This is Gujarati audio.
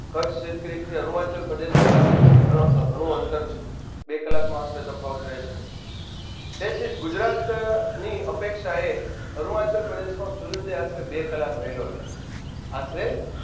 કચ્છ અરુણાચલ પ્રદેશ વાલાંગુણું ગણ ગણું અંતર છે બે કલાકનો આશરે તફાવત રેશે મિત્રો તેથીજ ગુજરાતની અપેક્ષાએ અરુણાચલ પ્રદેશમાં સૂર્યોદય આશરે બે કલાક વેલો થાય છે આશરે